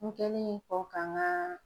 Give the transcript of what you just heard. N kɛlen kɔ ka n ka